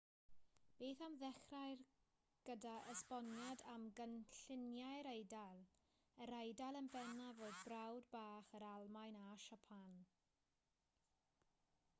beth am ddechrau gydag esboniad am gynlluniau'r eidal yr eidal yn bennaf oedd brawd bach yr almaen a siapan